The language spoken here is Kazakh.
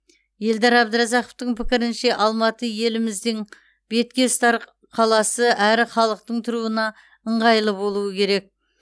елдар әбдіразақовтың пікірінше алматы еліміздің бетке ұстар қаласы әрі халықтың тұруына ыңғайлы болуы керек